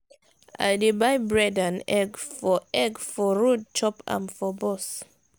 i dey buy bread and egg for egg for road chop am for bus.